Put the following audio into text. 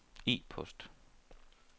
e-post